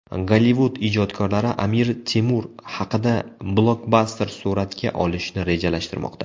Gollivud ijodkorlari Amir Temur haqida blokbaster suratga olishni rejalashtirmoqda.